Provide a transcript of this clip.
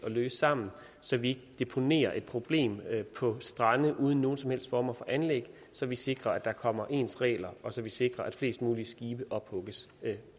løse sammen så vi ikke deponerer et problem på strande uden nogen som helst former for anlæg så vi sikrer at der kommer ens regler og så vi sikrer at flest mulige skibe ophugges